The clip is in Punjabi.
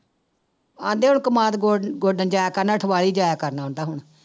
ਕਹਿੰਦੇ ਹੁਣ ਕਮਾਦ ਗੋ ਗੋਡਣ ਜਾਇਆ ਕਰਨਾ ਅਠਵਾਲੀ ਜਾਇਆ ਕਰਨਾ ਕਹਿੰਦਾ ਹੁਣ।